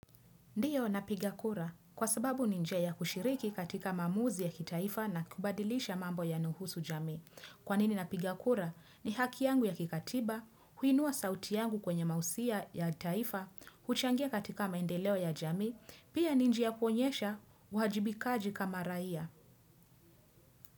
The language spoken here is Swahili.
Ndiyo napigakura kwa sababu ni njia ya kushiriki katika maamuzi ya kitaifa na kubadilisha mambo yanayohusu jamii. Kwanini napigakura ni haki yangu ya kikatiba, huinua sauti yangu kwenye mausia ya taifa, kuchangia katika maendeleo ya jamii, pia ninjia ya kuonyesha, uwajibikaji kama raia.